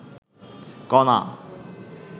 কণা